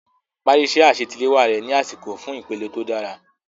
Parí iṣẹ́ àṣetiléwá rẹ ní àsìkò fún ìpele tó dára.